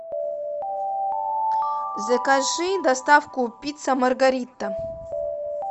закажи доставку пицца маргарита